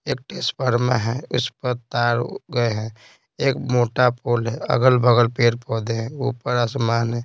एक टेस्पर्मा है उस पर तार गए हैं एक मोटा पोल है अगल-बगल पेड़ पौधे हैं ऊपर आसमान है।